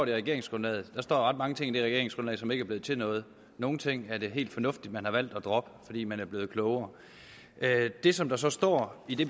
i regeringsgrundlaget der står ret mange ting i det regeringsgrundlag som ikke er blevet til noget nogle ting er det helt fornuftigt at man har valgt at droppe fordi man er blevet klogere det som der så står i det